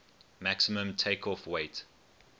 maximum takeoff weight